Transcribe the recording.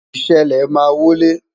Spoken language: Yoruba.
ìṣẹlẹ ma wo ile